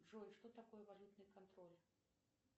джой что такое валютный контроль